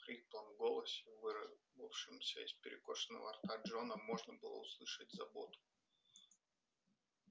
в хриплом голосе вырывавшемся из перекошенного рта джона можно было услышать заботу